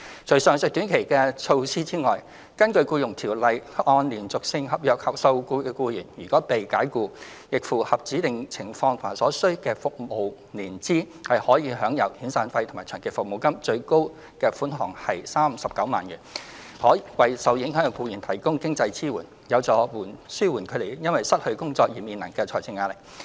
除上述短期支援外，根據《僱傭條例》，按連續性合約受僱的僱員如被僱主解僱，並符合指定情況及所需的服務年資，可享有遣散費或長期服務金，最高款額為39萬元，可為受影響僱員提供經濟支援，有助紓緩他們因失去工作而面臨的財政壓力。